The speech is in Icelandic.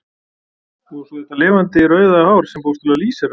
Og svo þetta lifandi rauða hár sem bókstaflega lýsir af.